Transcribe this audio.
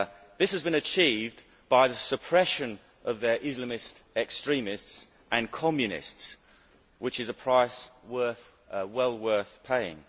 This has been achieved by the suppression of their Islamist extremists and Communists, which is a price well worth paying.